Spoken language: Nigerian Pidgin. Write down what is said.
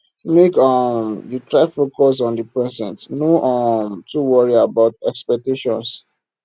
make um you try focus on di present no um too worry about expectations